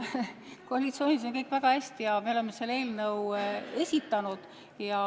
Koalitsioonis on kõik väga hästi ja me oleme selle eelnõu esitanud.